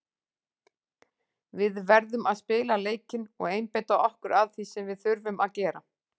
Við verðum að spila leikinn og einbeita okkur að því sem við þurfum að gera.